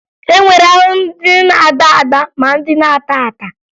E nwere ahụhụ ndị na-agba agba ma ndị na-ata ata